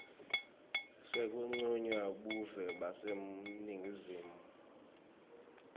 sekuncunywa buve baseningizimu